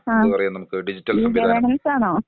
ആ ഈ ഗവേർണൻസാണോ.